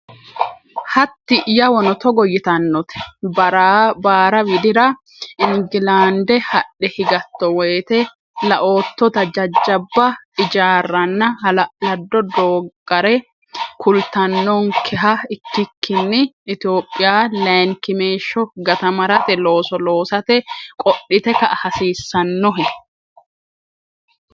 Hatti yawono togo yitannote, “Baara Widira, Ingilaande hadhe higatto woyte, laoottota jajjabba ijaarraanna hala’lado dooggare kulattonkeha ikkikkinni, Itophiya layinkimeeshsho gatamarate looso loosate qodhite ka”a hasiissannohe?